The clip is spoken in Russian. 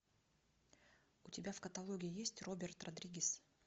у тебя в каталоге есть роберт родригес